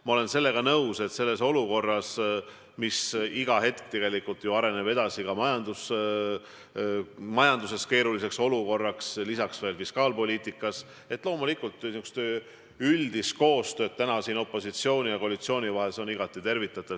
Ma olen nõus, et olukorras, mis iga hetk muutub – ka majanduses ja fiskaalpoliitikas läheb situatsioon aina keerulisemaks –, on loomulikult üldine koostöö opositsiooni ja koalitsiooni vahel igati tervitatav.